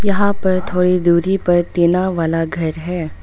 यहां पर थोड़ी दूरी पर टीना वाला घर है।